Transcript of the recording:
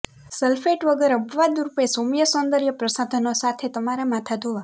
sulphate વગર અપવાદરૂપે સૌમ્ય સૌંદર્ય પ્રસાધનો સાથે તમારા માથા ધોવા